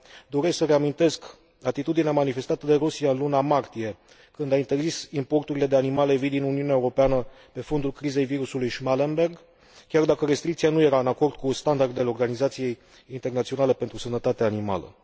Doresc să reamintesc atitudinea manifestată de Rusia în luna martie, când a interzis importurile de animale vii din Uniunea Europeană, pe fondul crizei virusului Schmallenberg, chiar dacă restricția nu era în acord cu standardele Organizației Internaționale pentru Sănătatea Animalelor.